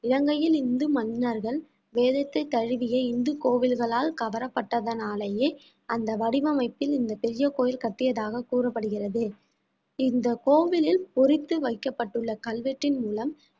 இலங்கையில் இந்து மன்னர்கள் வேதத்தை தழுவிய இந்து கோவில்களால் கவரப்பட்டதனாலேயே அந்த வடிவமைப்பில் இந்த பெரிய கோயில் கட்டியதாக கூறப்படுகிறது இந்த கோவிலில் பொறித்து வைக்கப்பட்டுள்ள கல்வெட்டின் மூலம்